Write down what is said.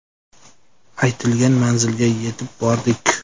Aytilgan manzilga yetib bordik.